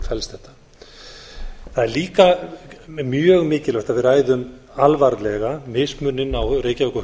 felst þetta það er líka mjög mikilvægt að við ræðu alvarlega mismuninn á reykjavík og